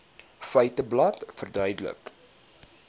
feiteblad verduidelik